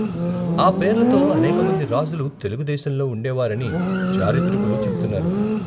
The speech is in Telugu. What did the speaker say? ఆ పేర్లతో అనేకమంది రాజులు తెలుగు దేశంలో ఉండేవారని చారిత్రకులు చెప్తున్నారు.